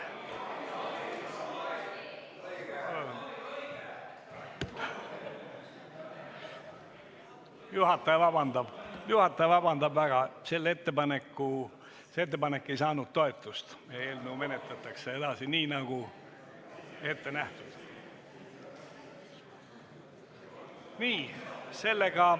Juhataja palub vabandust, see ettepanek ei saanud toetust ja eelnõu menetletakse edasi nii, nagu on ette nähtud.